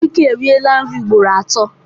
Obike eriela nri ugboro atọ.